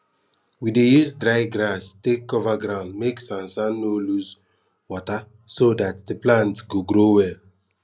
we dey use dry grass take cover ground make sansan no lose wata so dat de plant go grow well